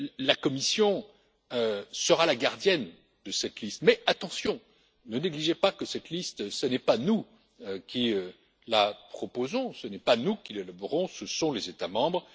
La Commission sera la gardienne de cette liste, mais attention, ne négligez pas que cette liste, ce n'est pas nous qui la proposons, ce n'est pas nous qui l'élaborons, ce sont les États membres.